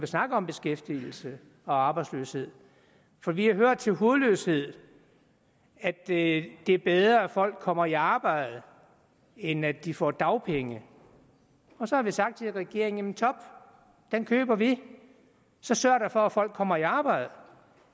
snakker om beskæftigelse og arbejdsløshed for vi hører til hudløshed at det er bedre at folk kommer i arbejde end at de får dagpenge og så har vi sagt til regeringen jamen top den køber vi så sørg da for at folk kommer i arbejde